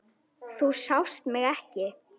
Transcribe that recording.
Þú sást mig ekki.